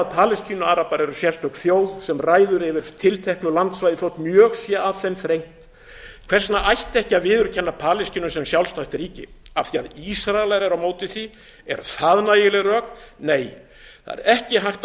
að palestínuarabar eru sérstök þjóð sem ræður yfir tilteknu landsvæði þótt mjög sé að þeim þrengt hvers vegna ætti ekki að viðurkenna palestínu sem sjálfstætt ríki af því að ísraelar eru móti því eru það nægileg rök nei það er ekki hægt að